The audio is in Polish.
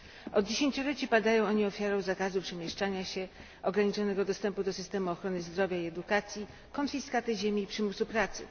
Od dziesięcioleci padają oni ofiarą zakazu przemieszczania się, ograniczonego dostępu do systemu ochrony zdrowia i edukacji, konfiskaty ziemi i przymusu pracy.